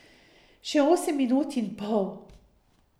Še osem minut in pol.